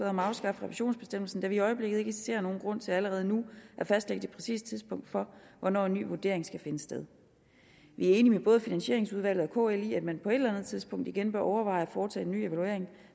om at afskaffe revisionsbestemmelsen da vi i øjeblikket ikke ser nogen grund til allerede nu at fastlægge det præcise tidspunkt for hvornår en ny vurdering skal finde sted vi er enige med både finansieringsudvalget og kl i at man på et eller andet tidspunkt igen bør overveje at foretage en ny evaluering